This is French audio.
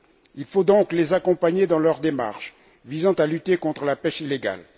Il faut donc les accompagner dans leur démarche visant à lutter contre la pêche illégale.